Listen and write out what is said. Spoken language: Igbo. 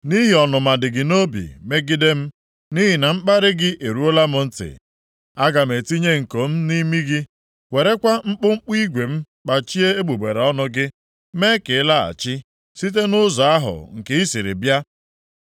Nʼihi ọnụma dị gị nʼobi megide m, nʼihi na mkparị gị eruola m ntị, aga m etinye nko + 37:29 Ọ bụrụ na ndị agha Asịrịa e merie obodo nʼagha, ha na-eji nko tinye nʼimi ndị ha dọtara nʼagha, jirikwa eriri igwe tinye nʼọnụ ha. m nʼimi gị, werekwa mkpụmkpụ igwe m kpachie egbugbere ọnụ gị, mee ka ị laghachi site nʼụzọ ahụ nke i siri bịa.